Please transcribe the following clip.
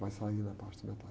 Vai sair na parte de metais